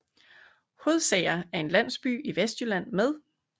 Hodsager er en landsby i Vestjylland med